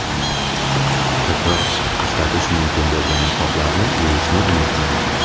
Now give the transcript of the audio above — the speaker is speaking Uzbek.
Takror ishlatish mumkin bo‘lgan niqoblarni yuvishni unutmang!